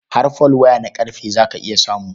Har folwaya na ƙarfe za ka iya samu.